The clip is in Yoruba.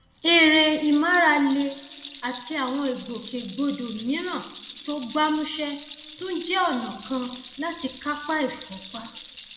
eré ìmárale àti àwọn ìgbòkègbodò mìíràn tó gbámúṣé tún jẹ ọnà kan láti kápá ìfúnpá